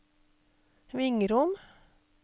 Vingrom